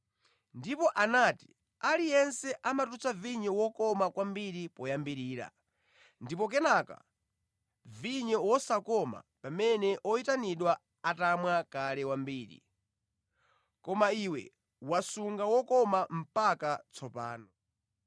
ndipo anati, “Aliyense amatulutsa vinyo wokoma kwambiri poyambirira ndipo kenaka vinyo wosakoma pamene oyitanidwa atamwa kale wambiri; koma iwe wasunga wokoma mpaka tsopano.”